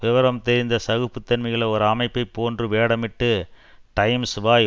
விபரம் தெரிந்த சகிப்புத்தன்மையுள்ள ஒரு அமைப்பை போன்று வேடமிட்டு டைம்ஸ் வாய்